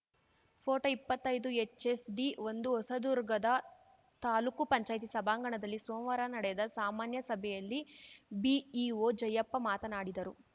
photo ಇಪ್ಪತ್ತೈದುಹೆಚ್‌ಎಸ್‌ಡಿಒಂದು ಹೊಸದುರ್ಗದ ತಾಲೂಕು ಪಂಚಾಯತಿ ಸಭಾಂಗಣದಲ್ಲಿ ಸೋಮವಾರ ನಡೆದ ಸಾಮಾನ್ಯ ಸಭೆಯಲ್ಲಿ ಬಿಇಒ ಜಯಪ್ಪ ಮಾತನಾಡಿದರು